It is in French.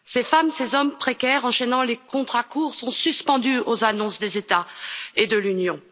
Ces femmes, ces hommes précaires enchaînant les contrats courts sont suspendus aux annonces des États et de l'Union.